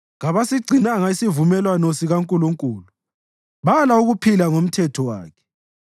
kabasigcinanga isivumelwano sikaNkulunkulu, bala ukuphila ngomthetho wakhe.